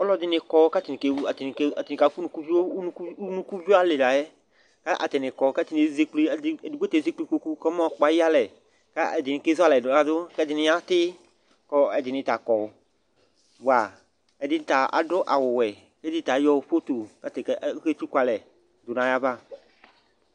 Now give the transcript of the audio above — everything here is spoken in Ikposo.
Alʋɛdɩnɩ kɔ kʋ atanɩ atanɩ atanɩ kafʋ unukuvio Unuku unukuvio alɩ la yɛ kʋ atanɩ kɔ kʋ atanɩ ezekple, edigbo ta ezekple kpoku kɔmayɔkpɔ ayʋ ɩyalɛ kʋ ɛdɩnɩ kezu alɛ ladʋ kʋ ɛdɩnɩ yatɩ kʋ ɔ ɛdɩnɩ ta kɔ, bʋa ɛdɩnɩ ya adʋ awʋwɛ kʋ ɛdɩnɩ ta ayɔ foto kʋ atanɩ ɔ aketsuku alɛ dʋ nʋ ayava